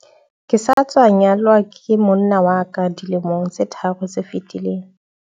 ke sa tswa nyalwa ke monna wa ka dilemong tse tharo tse fetileng